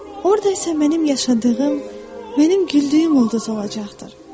Orda isə mənim yaşadığım, mənim güldüyüm ulduz olacaqdır.